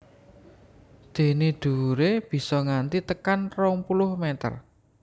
Dené dhuwuré bisa nganti tekan rong puluh mèter